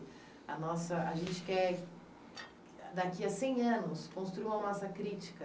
A gente quer, daqui a cem anos, construir uma massa crítica.